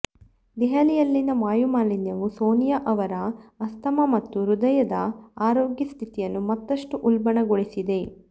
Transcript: ದೆಹಲಿಯಲ್ಲಿನ ವಾಯುಮಾಲಿನ್ಯವು ಸೋನಿಯಾ ಅವರ ಆಸ್ತಮಾ ಮತ್ತು ಹೃದಯದ ಆರೋಗ್ಯ ಸ್ಥಿತಿಯನ್ನು ಮತಷ್ಟು ಉಲ್ಬಣಗೊಳಿಸಿದೆ